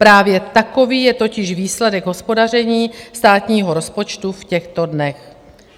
Právě takový je totiž výsledek hospodaření státního rozpočtu v těchto dnech.